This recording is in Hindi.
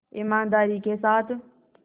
ईमानदारी के साथ